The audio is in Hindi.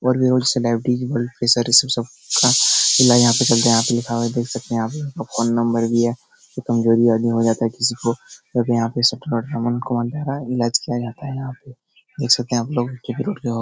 और सब का इलाज यहां पे चल रहा है आप लोग सारे देख सकते हैं यहां पे फ़ोन नंबर भी है कोई कमज़ोरी आदमी हो जाता है किसी को और यहाँ पे को इलाज किया जाता है यहाँ पे देख सकते है आप लोग --